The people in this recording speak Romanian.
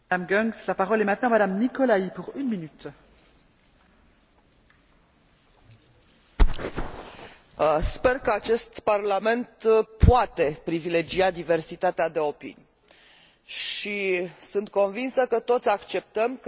Sper că acest Parlament poate privilegia diversitatea de opinii și sunt convinsă că toți acceptăm că riscurile criminalității transnaționale și riscurile terorismului sunt riscuri globale, la care trebuie răspunsuri globale.